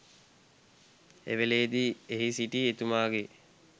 එවේලේදි එහි සිටි එතුමාගේ